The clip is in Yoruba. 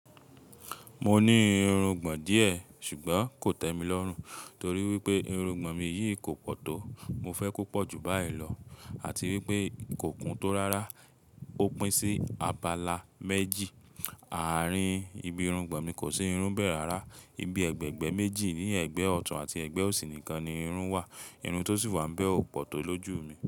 Mo ní irungbọ̀n díẹ̀, ṣùgbọ́n kò tẹ́ mi lọ́rùn torí wípé irungbọ̀n mi yìí kò pọ̀ tó. Mo fẹ́ kó pọ̀ ju báyìí lọ àti wípé kò kún tó rárá. Ó pín sí abala méjì. Àárín ibi irungbọ̀n mi kò sí irun bẹ̀ẹ̀ rárá. Ibi ẹ̀gbẹ̀ẹ̀gbẹ́ méjì ni ẹ̀gbẹ́ ọ̀tún àti ẹ̀gbẹ́ òsì nìkan ni irun wà. Irun tó sì wà ń bẹ́ ọ̀ pọ̀ tó lójú mi.